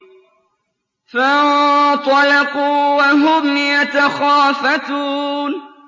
فَانطَلَقُوا وَهُمْ يَتَخَافَتُونَ